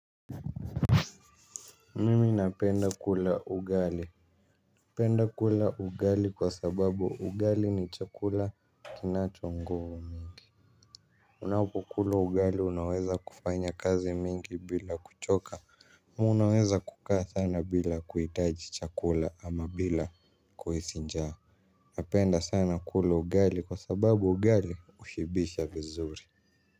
Mimi napenda kula ugali, napenda kula ugali kwa sababu ugali ni chakula kinacho nguvu. Unapokula ugali unaweza kufanya kazi mingi bila kuchoka. Unaweza kukaa sana bila kuhitaji chakula ama bila kuhisi njaa. Napenda sana kula ugali kwa sababu ugali hushibisha vizuri.